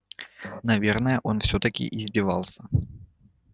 наверное он всё-таки издевался